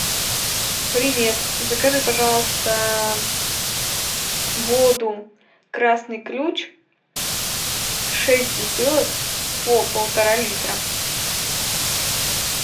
привет закажи пожалуйста воду красный ключ шесть бутылок по полтора литра